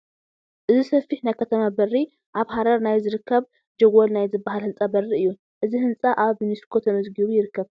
እዚ ሰፊሕ ናይ ከተማ በሪ ኣብ ሓረር ናይ ዝርከብ ጀጐል ናይ ዝበሃል ህንፃ በሪ እዩ፡፡ እዚ ህንፃ ኣብ ዩኔስኮ ተመዝጊቡ ይርከብ፡፡